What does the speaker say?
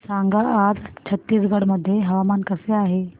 सांगा आज छत्तीसगड मध्ये हवामान कसे आहे